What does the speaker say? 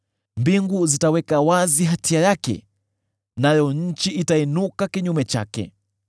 Mbingu zitaweka wazi hatia yake, nayo nchi itainuka kinyume chake.